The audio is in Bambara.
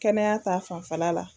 Kɛnɛya ta fanfɛla la